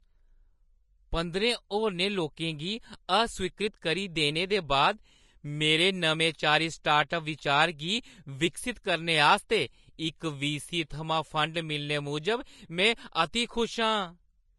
पंदरें होरनें लोकें गी अस्वीकृत करी दित्ते दे बाद मेरे नमेंचारी स्टार्टअप बिचार गी विकसत करने आस्तै इक वीसी थमां फंड मिलने मूजब में अति खुश आं।